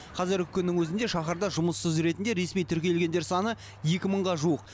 қазіргі күннің өзінде шаһарда жұмыссыз ретінде ресми тіркелгендер саны екі мыңға жуық